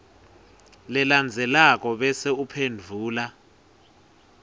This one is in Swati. lelandzelako bese uphendvula